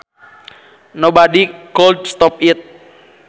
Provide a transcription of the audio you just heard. Nobody could stop it